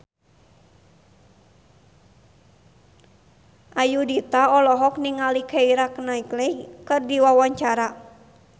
Ayudhita olohok ningali Keira Knightley keur diwawancara